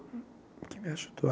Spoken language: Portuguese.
Que me ajudou a?